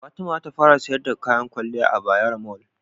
Fatima zata fara siyar da kayan kwaliya a Bayaro Mall